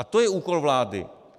A to je úkol vlády.